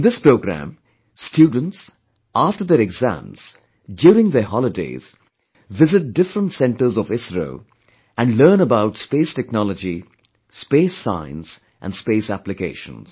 In this programme, students, after their exams, during their holidays, visit different centres of ISRO and learn about Space Technology, Space Science and Space Applications